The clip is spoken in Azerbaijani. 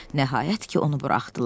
Nəhayət ki, onu buraxdılar.